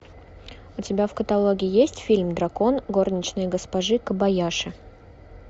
у тебя в каталоге есть фильм дракон горничной госпожи кобаяши